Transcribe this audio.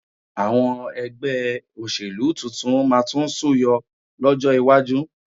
Àwọn ẹgbẹ́ òṣèlú tuntun máa tún súyọ lọ́jọ́ iwájú